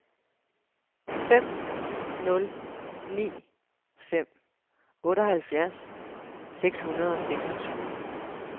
fem nul ni fem otteoghalvfjerds seks hundrede og seksogtyve